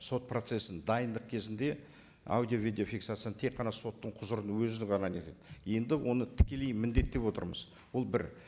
сот процессін дайындық кезінде аудио видеофиксацияны тек қана соттың құзырының өзі ғана нетеді енді оны тікелей міндеттеп отырмыз ол бір